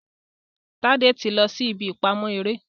Tade tí lọ sí ìbí ìpamọ eré